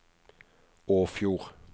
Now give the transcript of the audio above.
Åfjord